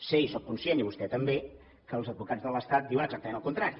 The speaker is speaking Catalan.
sé i sóc conscient i vostè també que els advocats de l’estat diuen exactament el contrari